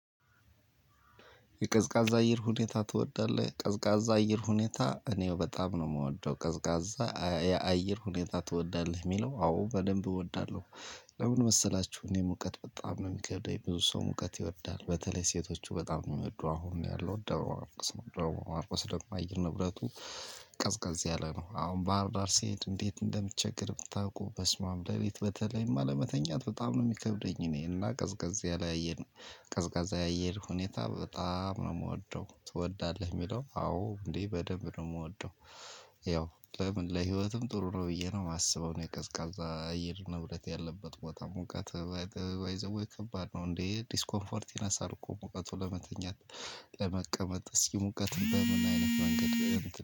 የቀዝቃዛ አየር ሁኔታ ትወዳለህ ቀዝቃዛ አየር ሁኔታ እኔው በጣም ነው ምወደው ቀዝቃዛ የአየር ሁኔታ ትወዳለህ ሚለው አዎ በደንብ እወዳለሁ። ለምን መሰላችሁ? እኔ ሙቀት በጣም ሚከብደኝ ብዙ ሰው ሙቀት ይወዳል በተለይ ሴቶቹ በጣም ነው ሚወዱ አሁን ያለው ደብረማርቆስ ነው ደብረማርቆስ ደሞ አየር ንብረቱ ቀዝቃዝ ያለ ነው። አሁን ባህርዳር ሲሄድ እንዴት እንዴት እንደምቸገር ብታውቁ በስማም ለሊት በተለይማ ለመተኛት በጣም ነው ሚከብደኝ። እኔ እና ቀዝቀዝ ያለ። ቀዝቃዛ የአየር ሁኔታ በጣም ነው ምወደው። ትወዳለህ ሚለው? አወ እንዴ በጣም ነው ምወደው። ያው ለምን ለህይወትም ጥሩ ነው። ብዬ ነው ማስበው። እኔ ቀዝቃዛ እየር ንብረት ያለበት ቦታ ሙቀት። ባይ ዘ ዌይ ከባድ ነው እንዴ ዲስኮምፎርት ይነሳል እኮ ሙቀቱን ለመተኛት። ለመቀመጥ